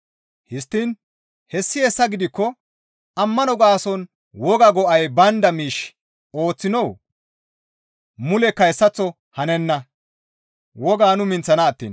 Histtiin hessi hessa gidikko ammano gaason wogaa go7ay baynda miish ooththinoo? Mulekka hessaththo hanenna; Wogaa nu minththana attiin.